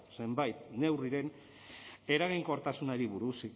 zenbait neurriren eraginkortasunari buruz